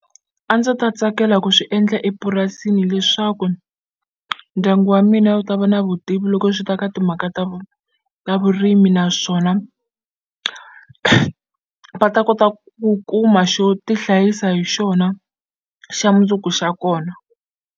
A ndzi ta tsakela ku swi endla epurasini leswaku ndyangu wa mina wu ta va na vutivi loko swi ta ka timhaka ta ta vurimi naswona va ta kota ku kuma xo tihlayisa hi xona xa mundzuku xa kona.